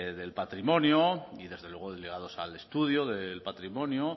del patrimonio y desde luego ligados al estudio del patrimonio